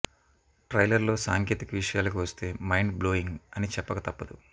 ట్రైలర్లో సాంకేతిక విషయాలకు వస్తే మైండ్ బ్లోయింగ్ అని చెప్పక తప్పదు